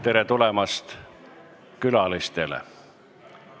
Tere tulemast külalistele!